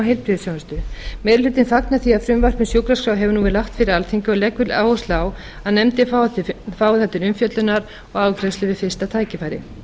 heilbrigðisþjónustu meiri hlutinn fagnar því að frumvarp um sjúkraskrá hefur nú verið lagt fyrir alþingi og leggur áherslu á að nefndin fái það til umfjöllunar og afgreiðslu við fyrsta tækifæri